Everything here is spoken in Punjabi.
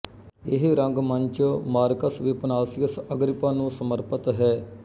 ਇਹ ਰੰਗਮੰਚ ਮਾਰਕਸ ਵਿਪਸਾਨੀਅਸ ਅਗਰਿਪਾ ਨੂੰ ਸਮਰਪਿਤ ਹੈ